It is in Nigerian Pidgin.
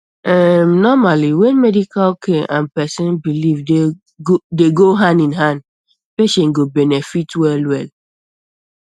erm normally when medical care and person belief dey go hand in hand patient go benefit wellwell